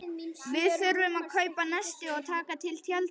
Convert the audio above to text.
Við þurfum að kaupa nesti og taka til tjöldin og.